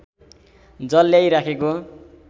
जल ल्याई राखेको